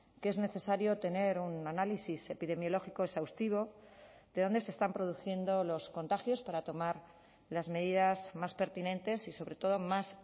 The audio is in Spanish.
que es necesario tener un análisis epidemiológico exhaustivo de dónde se están produciendo los contagios para tomar las medidas más pertinentes y sobre todo más